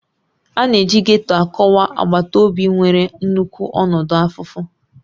A na-eji Getto akọwa agbata obi nwere nnukwu ọnọdụ afụfụ